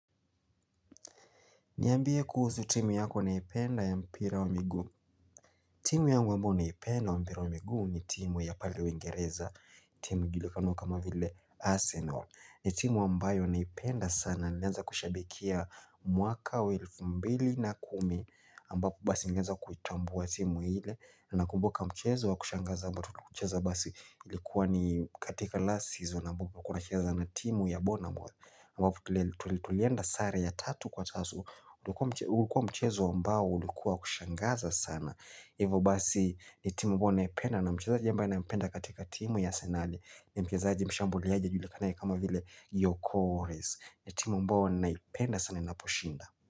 Niambie kuhusu timu yako unayoipenda ya mpira wa miguu. Timu yangu ambayo naipenda ya mpira wa miguu ni timu ya pale uingereza timu inayojulikana kama vile Arsenal. Ni timu ambayo naipenda sana. Iliweza kushabikia mwaka wa elfu mbili na kumi ambapo basi niliweza kuitambua timu ile na nakumbuka mchezo wa kushangaza ambapo tuliucheza basi ilikuwa ni katika last season ambapo. Tulikuwa tunacheza na timu ya bonamboe. Tulienda sare ya tatu kwa tatu. Ulikuwa mchezo ambao ulikuwa wa kushangaza sana. Ivo basi ni timu ambayo naipenda. Na mchezaji ambaye nampenda katika timu ya Arsenali. Ni mchezaji mshambuliaji ajulikanaye kama vile iokoles. Ni timu ambayo ninaipenda sana inaposhinda.